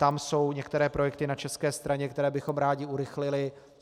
Tam jsou některé projekty na české straně, které bychom rádi urychlili.